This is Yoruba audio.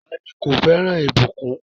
Táni kò fẹran ibùkún?